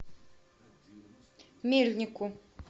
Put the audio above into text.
мельнику